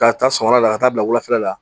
Ka taa sɔgɔmada la ka taa bila wulafɛla la